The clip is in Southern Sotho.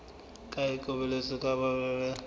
ke boikarabelo ba moahi e